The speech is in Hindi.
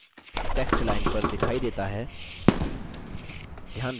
text line पर दिखाई देता है